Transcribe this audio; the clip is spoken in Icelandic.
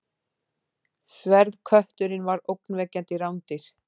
Sverðkötturinn var ógnvekjandi rándýr.